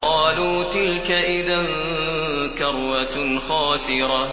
قَالُوا تِلْكَ إِذًا كَرَّةٌ خَاسِرَةٌ